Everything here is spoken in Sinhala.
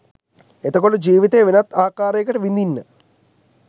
එතකොට ජීවිතය වෙනත් ආකාරයකට විදින්න